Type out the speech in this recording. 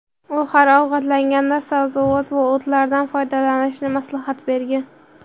U har ovqatlanganda sabzavot va o‘tlardan foydalanishni maslahat bergan.